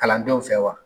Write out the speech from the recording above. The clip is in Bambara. Kalandenw fɛ wa